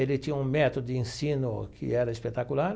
Ele tinha um método de ensino que era espetacular.